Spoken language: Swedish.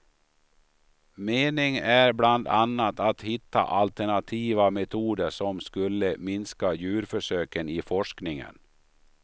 Meningen är bland annat att hitta alternativa metoder som skulle minska djurförsöken i forskningen.